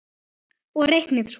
Og reiknið svo.